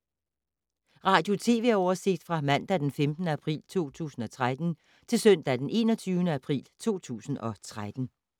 Radio/TV oversigt fra mandag d. 15. april 2013 til søndag d. 21. april 2013